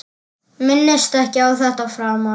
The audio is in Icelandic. Minnist ekki á þetta framar.